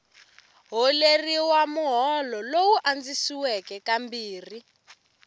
holeriwa muholo lowu andzisiweke kambirhi